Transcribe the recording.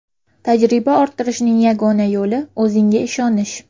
Tajriba orttirishning yagona yo‘li o‘zingga ishonish.